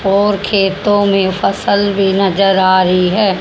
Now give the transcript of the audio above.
और खेतों में फसल भी नजर आ रही है।